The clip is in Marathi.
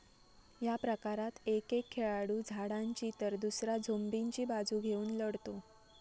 या प्रकारात एक एक खेळाडू झाडांची तर दुसरा झोंबींची बाजू घेऊन लढतो.